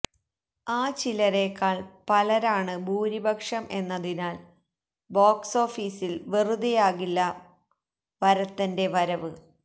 ആ ചിലരേക്കാൾ പലരാണ് ഭൂരിപക്ഷം എന്നതിനാൽ ബോക്സോഫീസിൽ വെറുതെയാകില്ല വരത്തന്റെ വരവ്